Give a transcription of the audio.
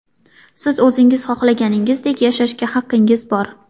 Siz o‘zingiz xohlaganingizdek yashashga haqingiz bor.